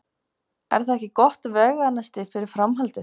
Er það ekki gott veganesti fyrir framhaldið?